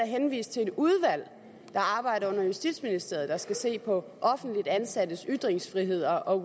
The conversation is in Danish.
henvist til et udvalg der arbejder under justitsministeriet der skal se på offentligt ansattes ytringsfrihed og